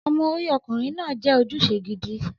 Ọmọ orí ọkùnrin náà jẹ́ ojúṣe gidi.